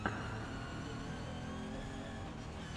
в ютубе централ партнершип